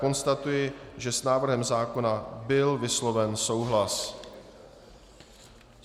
Konstatuji, že s návrhem zákona byl vysloven souhlas.